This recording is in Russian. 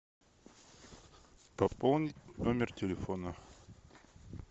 пополнить номер телефона